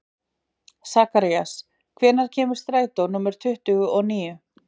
Sakarías, hvenær kemur strætó númer tuttugu og níu?